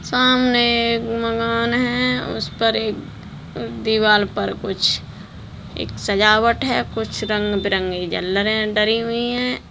सामने एक मकान है उसपर एक दीवाल पर कुछ एक सजावट है कुछ रंग बिरंगी झलरे डली हुई है।